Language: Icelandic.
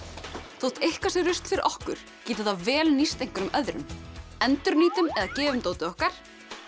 þótt eitthvað sé rusl fyrir okkur getur það vel nýst öðrum endurnýtum eða gefum dótið okkar